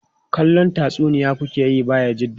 Kallon tatsuniya ku ke yi Bayajidda?